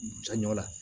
Jaɲɔ la